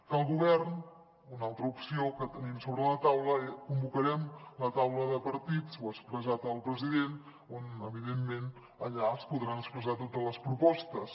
que el govern una altra opció que tenim sobre la taula convocarem la taula de partits ho ha expressat el president on evidentment allà es podran expressar totes les propostes